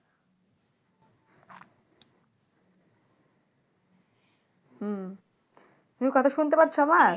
হুম তুমি কথা শুনতে পাচ্ছো আমার?